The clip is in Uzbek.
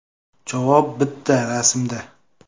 Javob bitta rasmda.